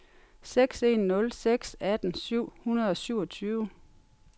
seks en nul seks atten syv hundrede og syvogtyve